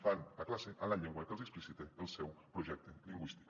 fan la classe en la llengua que els explicita el seu projec te lingüístic